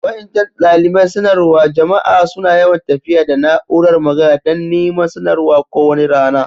Wa'incan dalibain sanarwa jama'a suna yawan tafiya da na'úrar magana dan niman sanarwa ko wani rana.